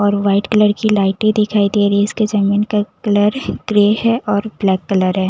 और white colour की लाइटें दिखाई दे रही इसके जमीन का कलर ग्रे है और ब्लैक कलर है।